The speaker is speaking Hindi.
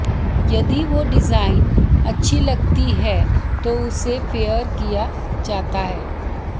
यदि वो डिजाइन अच्छी लगती है तो उसे फेयर किया जाता है